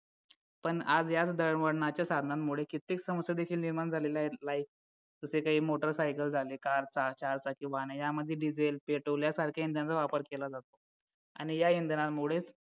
पण आज याच दळणवळणाच्या साधनांमुळे किती समस्या देखील निर्माण झालेल्या आहेत जसे काही motorcycle झालेत कार सहा चार चाकी वाहने यामध्ये diesel petrol यासारख्या इंधनाचा वापर केला जातो आणि या इंधनामुळेच